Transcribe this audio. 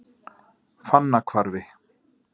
Fannahvarfi